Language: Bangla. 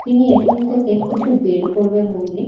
তিনি এ.টি.এম থেকে কিছু বের করবে বলে --